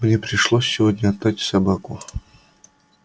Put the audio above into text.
мне пришлось сегодня отдать собаку